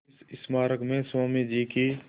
इस स्मारक में स्वामी जी की